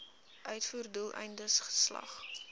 uitvoer doeleindes geslag